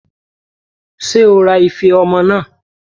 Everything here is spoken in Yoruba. Ṣé o ra ife ọmọ náà?